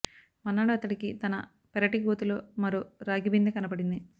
మర్నాడు అతడికి తన పెరటి గోతిలో మరో రాగి బిందె కనబడింది